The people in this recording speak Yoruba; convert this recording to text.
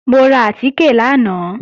Mo ra àtìkè lánàá